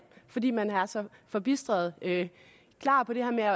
fordi man er så forbistret klar på det her med